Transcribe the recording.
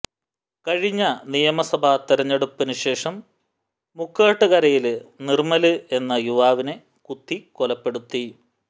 കഴിഞ്ഞ നിയമസഭ തെരഞ്ഞെടുപ്പിന് ശേഷം മുക്കാട്ടുകരയില് നിര്മ്മല് എന്ന യുവാവിനെ കുത്തിക്കൊലപ്പെടുത്തി